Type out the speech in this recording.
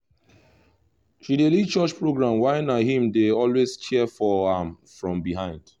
she dey lead church programs while na he dey always cheer for am from behind